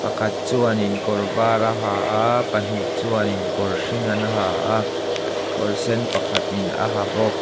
pakhat chuanin kawr var a ha a pahnih chuan in kawr hring an ha a kawr sen pakhat in a ha bawk.